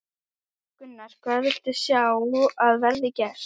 Gunnar: Hvað viltu sjá að verði gert?